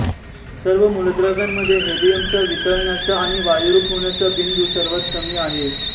सर्व मूलद्रव्यांमध्ये हेलियमचा वितळण्याचा आणि वायुरूप होण्याचा बिंदु सर्वात कमी आहे